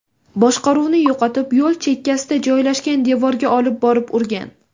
boshqaruvni yo‘qotib, yo‘l chekkasida joylashgan devorga olib borib urgan.